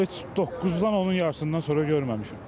Vallah heç 9-dan, onun yarısından sonra görməmişəm.